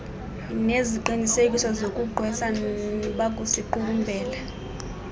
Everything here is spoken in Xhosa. ngeziqinisekiso zokugqwesa bakusiqukumbela